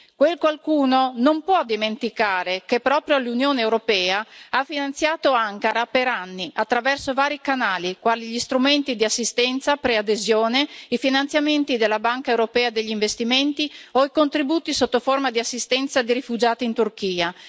quel qualcuno non può dimenticare che proprio l'Unione europea ha finanziato Ankara per anni attraverso vari canali, quali gli Strumenti di assistenza preadesione, i finanziamenti della Banca europea per gli investimenti o i contributi sotto forma di assistenza di rifugiati in Turchia.